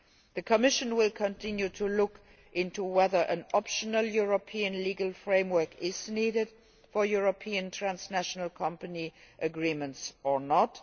The Commission will continue to look into whether an optional European legal framework is needed for European transnational company agreements or not.